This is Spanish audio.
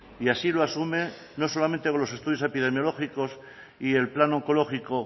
y así lo asume no solamente con los estudios epidemiológicos y el plan oncológico